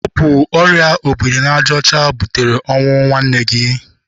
Ọ bụ ọrịa obiri n'aja ọcha butere ọnwụ nwanne gị.